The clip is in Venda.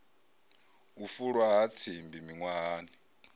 u fulwa ha tsimbi miṅwahani